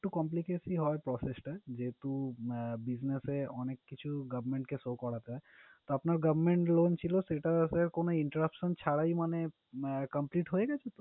একটু complicacy হয় process টা। যেহেতু আহ business এ অনেক কিছু govetment কে show করাতে হয়। তো আপনার government loan ছিলো, সেটা sir কোনো interruption ছাড়াই মানে complete হয়ে গেসে?